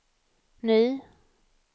ny